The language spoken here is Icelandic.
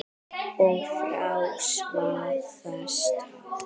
Og frá hvaða stað?